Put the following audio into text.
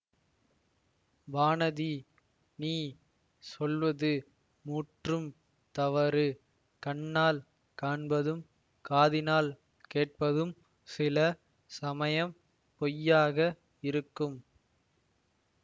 வானதி நீ சொல்வது முற்றும் தவறு கண்ணால் காண்பதும் காதினால் கேட்பதும் சில சமயம் பொய்யாக இருக்கும்